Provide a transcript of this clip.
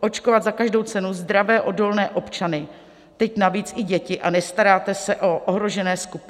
očkovat za každou cenu zdravé odolné občany, teď navíc i děti, a nestaráte se o ohrožené skupiny?